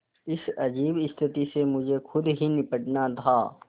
इस अजीब स्थिति से मुझे खुद ही निबटना था